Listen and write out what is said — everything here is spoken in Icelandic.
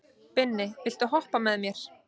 Binni, viltu hoppa með mér?